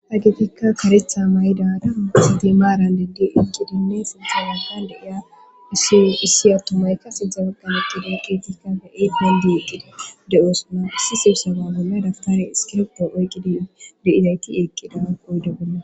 Hagefikka karetha may'idara sidlimaran deddi eqqidinne silxawaha deiya issiyo issi attomay kase dzabagganaqida keetikkafe eethandi eqqida de'osuna isisibsawa bolla daftare iskirppo oyqqidin deizayti eeqqida qoyde golla.